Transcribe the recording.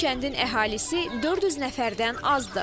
Bu kəndin əhalisi 400 nəfərdən azdır.